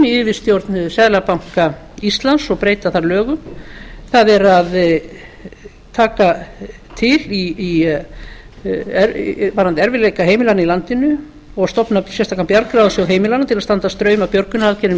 yfirstjórn seðlabanka íslands og breyta þar lögum það er að taka til varðandi erfiðleika heimilanna í landinu og stofna sérstakan bjargráðasjóð heimilanna til að standa straum af björgunaraðgerðum í